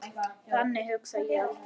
Þannig hugsa ég aldrei.